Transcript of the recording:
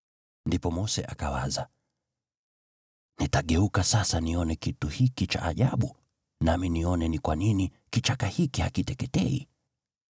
Ndipo Mose akawaza, “Nitageuka sasa nione kitu hiki cha ajabu, nami nione ni kwa nini kichaka hiki hakiteketei.”